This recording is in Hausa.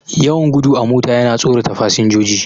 Yawan gudu a mota yana tsorata fasinjoji.